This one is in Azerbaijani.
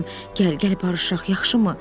Gəl, gəl barışaq, yaxşı mı?